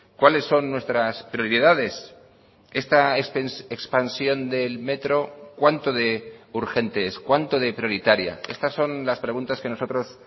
cuáles son nuestras prioridades esta expansión del metro cuanto de urgente es cuánto de prioritaria estas son las preguntas que nosotros